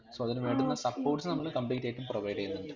so അതിനുവേണ്ടുന്ന supports നമ്മള് complete ആയിട്ടും provide ചെയ്യുന്നുണ്ട്